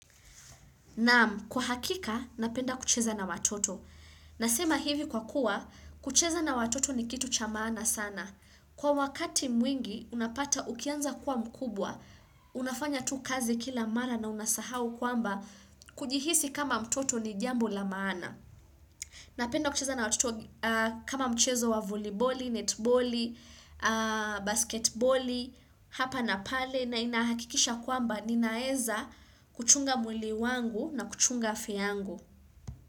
Naam, kwa hakika, napenda kucheza na watoto. Nasema hivi kwa kuwa, kucheza na watoto ni kitu cha maana sana. Kwa wakati mwingi, unapata ukianza kuwa mkubwa. Unafanya tu kazi kila mara na unasahau kwamba, kujihisi kama mtoto ni jambo la maana. Napenda kucheza na watoto kama mchezo wa voleiboli, netboli, basketboli, hapa na pale na inahakikisha kwamba ninaeza kuchunga mwili wangu na kuchunga afya yangu.